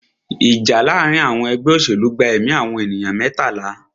Ìjà láàárín àwọn ẹgbẹ́ òṣèlú gba ẹ̀mí àwọn ènìyàn mẹ́tàlá.